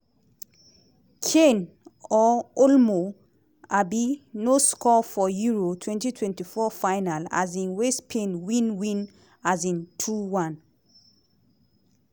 kane or olmo um no score for euro twenty twenty four final um wey spain win win um two one.